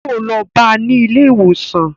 Yóò lọ bá ní ilé ìwòsàn